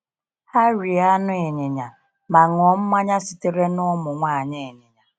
Ha rie anụ ịnyịnya ma ṅụọ mmanya sitere n’ụmụ nwanyị ịnyịnya.